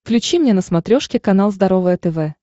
включи мне на смотрешке канал здоровое тв